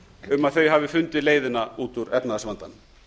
um að þau hafi fundið leiðina út úr efnahagsvandanum